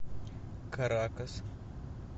каракас